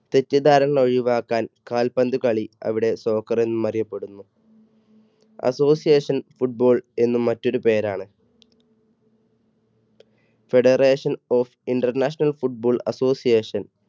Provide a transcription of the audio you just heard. തെറ്റിദ്ധാരണ ഒഴിവാക്കാൻ കാൽപന്തുകളി അവിടെ soccer എന്ന് അറിയപ്പെടുന്നു. association football എന്ന് മറ്റൊരു പേരാണ്. Federation of international football association.